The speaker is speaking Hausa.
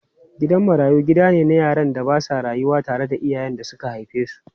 Gidan marayu gida ne na yaran da ba sa rayuwa tare da iyayen da suka haife su.